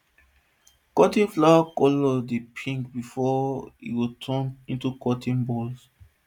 cotton flower colour dey pink before im go turn into cotton bolls